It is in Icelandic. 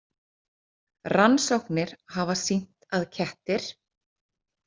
Rannsóknir hafa sýnt að kettir.